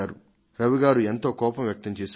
రవి గారు తన కోపాన్ని వ్యక్తం చేశారు